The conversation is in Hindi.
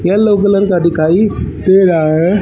येलो कलर का दिखाई दे रहा है।